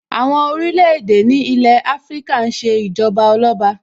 Àwọn orílẹ̀-èdè ní ilé Afíríkà ń ṣe Ìjọba Ọlọ́ba